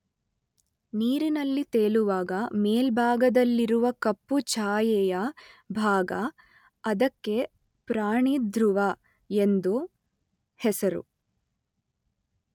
ನೀರಿನಲ್ಲಿ ತೇಲುವಾಗ ಮೇಲ್ಭಾಗದಲ್ಲಿರುವ ಕಪ್ಪು ಛಾಯೆಯ ಭಾಗ, ಅದಕ್ಕೆ ಪ್ರಾಣಿಧೃವ ಎಂದು ಹೆಸರು.